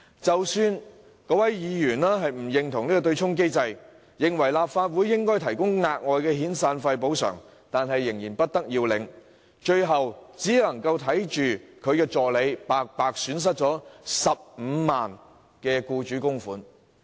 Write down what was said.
即使該名議員亦不認同對沖機制，認為立法會應該提供額外遣散費補償，但仍然不得要領，最終只能看着他的助理白白損失15萬元的僱主供款。